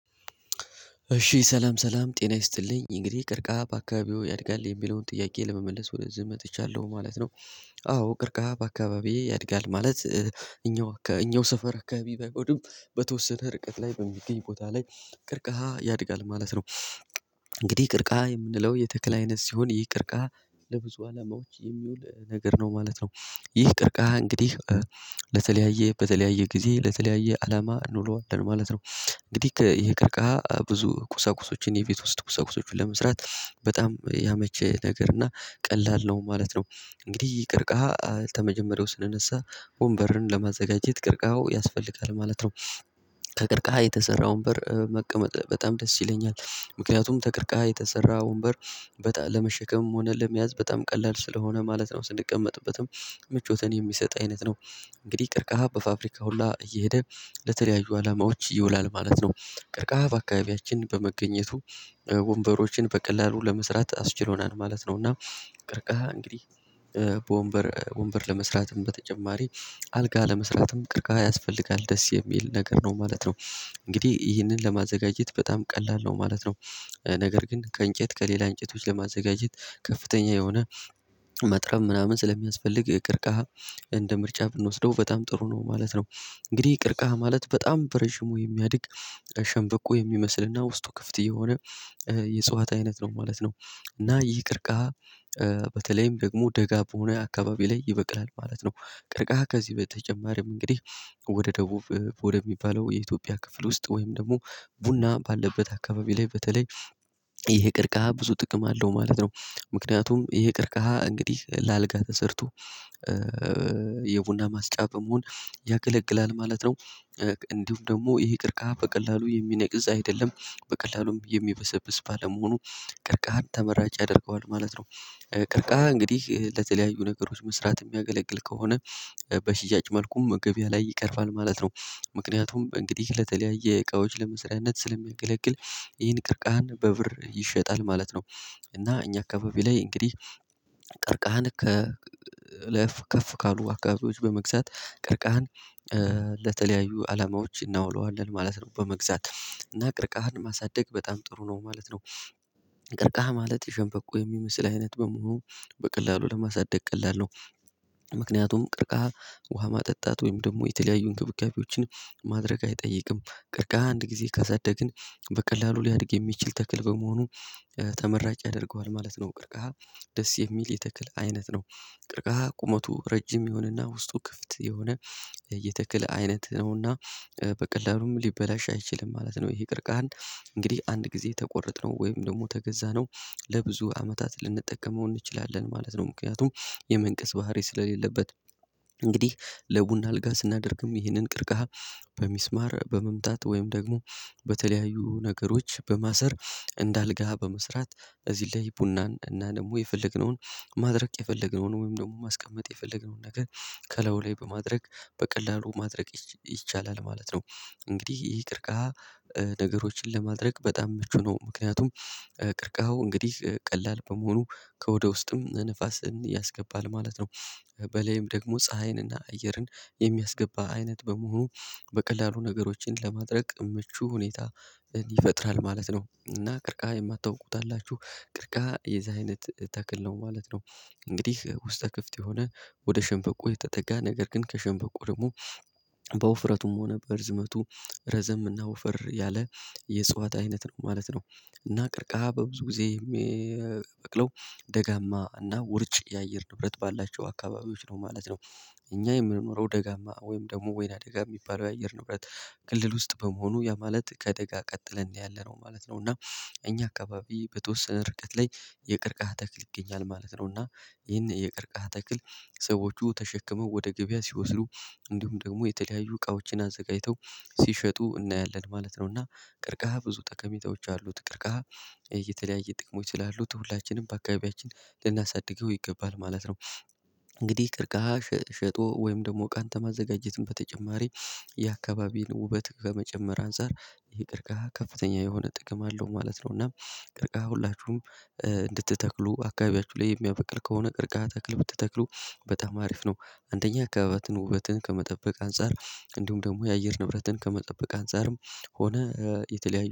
እሺ ሰላም ሰላም ጤና ይስጥልኝ እንግዲህ ቀርቃ በአካባቢው ያድጋል የሚለውን ጥያቄ ለመመለስ ወደዚህ መጥቻለሁ ማለት ነው። አዎ ቀርቃ በአካባቢዬ ያድጋል ማለት እኛው እኛው ሰፈር አካባቢ ባይሆንም በተወሰነ ርቀት ላይ በሚገኝ ቦታ ላይ። ቀርቃ ያድጋል ማለት ነው። እንግዲህ ቀርቃ የምንለው የተክል አይነት ሲሆን ቀርቃ ለብዙ አላማዎች የሚውል ነገር ነው ማለት ነው። ይህ ቀርቃ እንግዲህ ለተለያየ በተለያየ ጊዜ ለተለያየ አላማ ኑሮ አለን ማለት ነው። እንግዲህ ይህ ቀርቀሃ ብዙ ቁሳቁሶችን የቤት ውስጥ ቁሳቁሶችን ለመስራት በጣም ያመቸ ነገር እና ቀላል ነው ማለት ነው። እንግዲህ ቀርቀሃ ከመጀመሪያው ስነነሳ ወንበርን ለማዘጋጀት ቀርቀሀው ያስፈልጋል ማለት ነው። ከቀርቀሃ የተሰራ ወንበር መቀመጥ በጣም ደስ ይለኛል። ምክንያቱም ከቀርቀሃ የተሰራ ወንበር በጣም ለመሸከም ሆነ ለመያዝ በጣም ቀላል ስለሆነ ማለት ነው ስንቀመጥበትም ምቾትን የሚሰጥ አይነት ነው። እንግዲህ ቅርቃሃ በፋብሪካ ሁላ እየሄደ ለተለያዩ አላማዎች ይወላል ማለት ነው። ቀርቀሃ በአካባቢያችን በመገኘቱ ወንበሮችን በቀላሉ ለመስራት አስችሎናል ማለት ነው። እና ቀርቀሃ እንግዲህ በወንበር ወንበር ለመስራትም በተጨማሪ አልጋ ለመስራትም ቀርቀሃ ያስፈልጋል ደስ የሚል ነገር ነው ማለት ነው። እንግዲህ ይህንን ለማዘጋጀት በጣም ቀላል ነው ማለት ነው። ነገር ግን ከእንጨት ከሌላ እንጨቶች ለማዘጋጀት ከፍተኛ የሆነ መጥረብ ምናምን ስለሚያስፈልግ ቀርቀሃ እንደ ምርጫ ብንወስደው በጣም ጥሩ ነው ማለት ነው። እንግዲህ ቀርቀሃ ማለት በጣም በረጅሙ የሚያድግ ሸንብቆ የሚመስልና ውስጡ ክፍት የሆነ የጽዋት አይነት ነው ማለት ነው። እና ቀርቀሃ በተለይም ደግሞ ደጋ በሆነ አካባቢ ላይ ይበቅላል ማለት ነው። ቀርቃሃ ከዚህ በተጨማሪም እንግዲህ ወደ ደቡብ ወደሚባለው የኢትዮጵያ ክፍል ውስጥ ወይም ደግሞ ቡና ባለበት አካባቢ ላይ በተለይ ይሄ ቀርከሃ ብዙ ጥቅም አለው ማለት ነው። ምክንያቱም ይሄ ቀርቀሃ እንግዲህ ለአልጋ ተሰርቶ የቡና ማስጫ በመሆን ያገለግላል ማለት ነው። እንዲሁም ደግሞ ይሄ ቀርከሃ በቀላሉ የሚነቅዝ አይደለም በቀላሉም የሚበሰብስ ባመሆኑ ቀርከሃ ተመራጭ ያደርገዋል ማለት ነው። ቀርከሃ እንግዲህ ለተለያዩ ነገሮች መስራት የሚያገለግል ከሆነ በሽያጭ መልኩም ገበያ ላይ ይቀርባል ማለት ነው። ምክንያቱም እንግዲህ ለተለያየ እቃዎች ለመስራትነት ስለሚንገለግል ይህን ቀርከሃ በብር ይሸጣል ማለት ነው። እና እኛ አካባቢ ላይ እንግዲህ ቀርከሃ ከ ከፍ ካሉ አካባቢዎች በመግዛት ቀርከሃን ለተለያዩ አላማዎች እናውለዋለን ማለት ነው። በመግዛት እና ቀርከሃን ማሳደግ በጣም ጥሩ ነው ማለት ነው። ቀርከሃ ማለት የሸምበቆ የሚመስል አይነት በመሆኑ በቀላሉ ለማሳደግ ቀላል ነው። ምክንያቱም ቀርከሃ ውሃ ማጠጣት ወይም ደግሞ የተለያዩ እንክብካቤዎችን ማድረግ አይጠይቅም። ቀርከሃ አንድ ጊዜ ካሳደግን በቀላሉ ሊያድግ የሚችል ተክል በመሆኑ ተመራጭ ያደርገዋል ማለት ነው። ቀርከሃ ደስ የሚል የተክል አይነት ነው። ቀርከሃ ቁመቱ ረጅም የሆነና ውስጡ ክፍት የሆነ የተክለ አይነት ነውና በቀላሉም ሊበላሽ አይችልም ማለት ነው። ይህ ቀርከሃን እንግዲህ አንድ ጊዜ ከቆረጥነው ወይም ደግሞ ከገዛነው ለብዙ አመታት ልንጠቀመው እንችላለን ማለት ነው። ምክንያቱም የመንቀስ ባህሪ ስለሌለበት። እንግዲህ ለቡና አልጋ ስናደርግም ይህንን ቀርከሃ በሚስማር በመምታት ወይም ደግሞ በተለያዩ ነገሮች በማሰር እንደ አልጋ በመስራት እዚህ ላይ ቡናን እና ደግሞ የፈለግነውን ማድረግ የፈለግነውን ወይም ደግሞ ማስቀመጥ የፈለግነውን ነገር ከላው ላይ በማድረግ በቀላሉ ማድረግ ይቻላል ማለት ነው። እንግዲህ ይህ ቀርከሃ ነገሮችን ለማድረግ በጣም ምቹ ነው። ምክንያቱም ቀርከሃው እንግዲህ ቀላል በመሆኑ ከወደ ውስጥም ንፋስን ያስገባል ማለት ነው። በላይም ደግሞ ፀሀይንና አየርን የሚያስገባ አይነት በመሆኑ በቀላሉ ነገሮችን ለማድረግ ምቹ ሁኔታ ይፈጥራል ማለት ነው። እና ቀርከሃ የማታውቁት አላችሁ? ቀርከሃ የዚህ አይነት ተክል ነው ማለት ነው። እንግዲህ ውስጠ ክፍት የሆነ ወደ ሸንበቆ የተጠጋ ነገር ግን ከሸንበቆ ደግሞ በወፍረቱም ሆነ በእርዝመቱ ረዘም እና ወፈር ያለ የጽዋት አይነት ነው ማለት ነው። እና ቀርከሃ በብዙ ጊዜ የሚበቅለው ደጋማ እና ውርጭ የአየር ንብረት ባላቸው አካባቢዎች ነው ማለት ነው። እኛ የምንኖረው ደጋማ ወይም ደግሞ ወይና ደጋ የሚባለው የአየር ንብረት ክልል ውስጥ በመሆኑ ያ ማለት ከደጋ ቀጥለን ነው ያለነው ማለት ነው። እና እኛ አካባቢ በተወሰነ ርቀት ላይ የቀርከሃ ተክል ይገኛል ማለት ነው። እና ይህን የቀርከሃ ተክል ሰዎቹ ተሸክመው ወደ ገበያ ሲወስዱ እንዲሁም ደግሞ የተለያዩ እቃዎችን አዘጋጅተው ሲሸጡ እናያለን ማለት ነው። እና ቀርከሃ ብዙ ጠቀሜታዎች አሉት ቀርከሃ ለተለያየ ጥቅሞች ስላሉት ሁላችንም በአካባቢያችን ልናሳድገው ይገባል ማለት ነው። እንግዲህ ቀርከሃ ሸጦ ወይም ደግሞ እቃን ከማዘጋጀት በተጨማሪ የአካባቢን ውበት ከመጨመር አንፃር ይህ ቀርከሃ ከፍተኛ የሆነ ጥቅም አለው ማለት ነው። እና ቀርከሃ ሁላችሁም እንድትተክሉ አካባቢያችሁ ላይ የሚያበቅል ከሆነ ቀርከሃ ተክል ብትተክሉ በጣም አሪፍ ነው። አንደኛ አካባቢያትን ውበትን ከመጠበቅ አንፃር እንዲሁም ደግሞ የአየር ንብረትን ከመጠበቅ አንፃርም ሆነ የተለያዩ